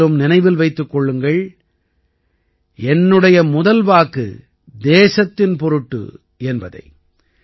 மேலும் நினைவில் வைத்திருங்கள் என்னுடைய முதல் வாக்கு தேசத்தின் பொருட்டு என்பதை